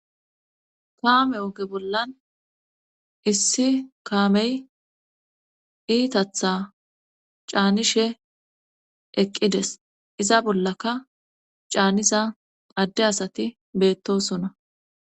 kaame oge bollan issi kaamey iitatha caanishe eqqides iza bollaka caanisa adde asati beettosona